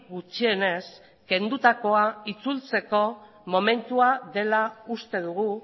gutxienez kendutakoa itzultzeko momentua dela uste dugu